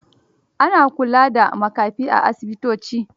Ana kula da makafi a asibitoci.